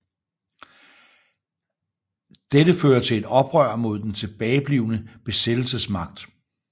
Dette fører til et oprør mod den tilbageblivende besættelsesmagt